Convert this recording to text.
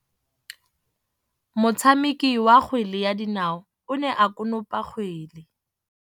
Motshameki wa kgwele ya dinaô o ne a konopa kgwele.